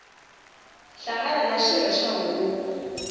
hlangana na xirho xa huvo